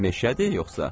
Meşədir yoxsa?